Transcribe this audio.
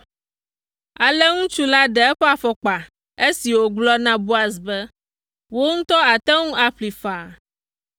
Ale ŋutsu la ɖe eƒe afɔkpa esi wògblɔ na Boaz be, “Wò ŋutɔ àte ŋu aƒlee faa.”